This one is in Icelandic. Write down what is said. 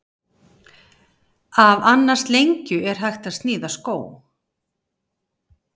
Af annars lengju er hægt að sníða skó.